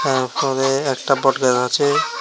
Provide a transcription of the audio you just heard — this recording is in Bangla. এ ঘরে একটা বটগাছ আছে।